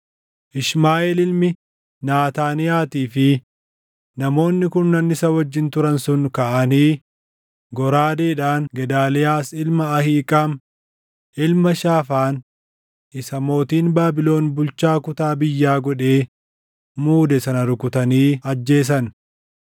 Ishmaaʼeel ilmi Naataaniyaatii fi namoonni kurnan isa wajjin turan sun kaʼanii goraadeedhaan Gedaaliyaas ilma Ahiiqaam, ilma Shaafaan isa mootiin Baabilon bulchaa kutaa biyyaa godhee muude sana rukutanii ajjeesan.